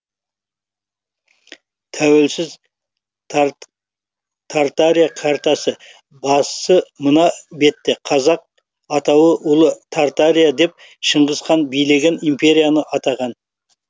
тәуелсіз тартария картасы басы мына бетте қазақ атауы ұлы тартария деп шыңғыс хан билеген империяны атаған